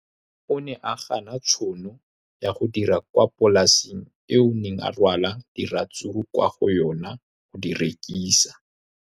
O ne a gana tšhono ya go dira kwa polaseng eo a neng rwala diratsuru kwa go yona go di rekisa.